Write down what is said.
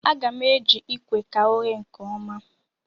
A ga-m eji ikwe ka o ghee nkeọma